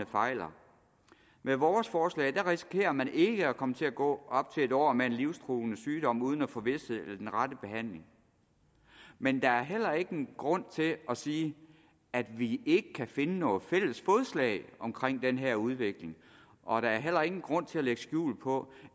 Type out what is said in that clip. fejler med vores forslag risikerer man ikke at kunne komme til at gå op til et år med en livstruende sygdom uden at få vished eller den rette behandling men der er heller ingen grund til at sige at vi ikke kan finde et fælles fodslag omkring den her udvikling og der er heller ingen grund til at lægge skjul på